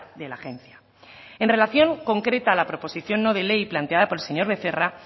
de la agencia en relación concreta a la proposición no de ley planteada por el señor becerra